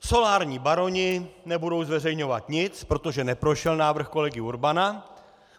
Solární baroni nebudou zveřejňovat nic, protože neprošel návrh kolegy Urbana.